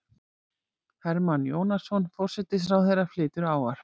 Hermann Jónasson, forsætisráðherra, flytur ávarp.